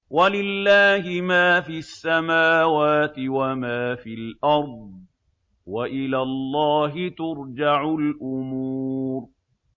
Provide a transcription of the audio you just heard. وَلِلَّهِ مَا فِي السَّمَاوَاتِ وَمَا فِي الْأَرْضِ ۚ وَإِلَى اللَّهِ تُرْجَعُ الْأُمُورُ